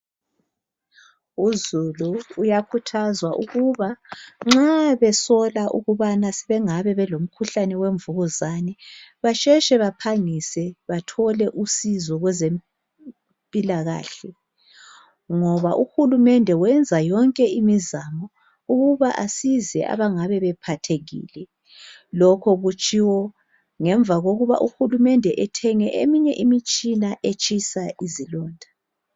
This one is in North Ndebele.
Uzulu uyakhuthazwa ukuba nxa besola ukubana sebengabe belomhuhlane wemvukuzane basheshe baphangise bathole usizo kwezempilakahle ngoba uhulumende wenza yonke imizamo ukuba asize abangabe bephathekile. Lokho kutshiwo ngemva kokuba uhulumende ethenge eminye imitshina etshisa izilonda.